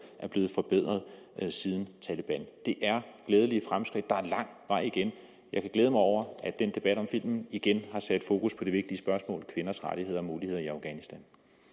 er blevet forbedret siden taleban det er glædelige fremskridt der er lang vej igen jeg kan glæde mig over at den debat om filmen igen har sat fokus på det vigtige spørgsmål kvinders rettigheder og muligheder i afghanistan